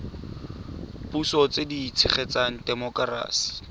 puso tse di tshegetsang temokerasi